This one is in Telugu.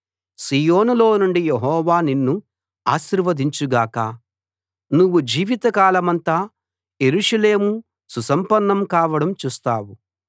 సీయోనులో నుండి యెహోవా నిన్ను ఆశీర్వదించు గాక నువ్వు జీవిత కాలమంతా యెరూషలేము సుసంపన్నం కావడం చూస్తావు